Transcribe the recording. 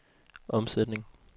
omsætning